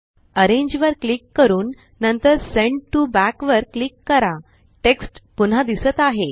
arrange वर click करून नंतर सेंड टीओ बॅक वर क्लिक करा टेक्स्ट पुन्हा दिसत आहे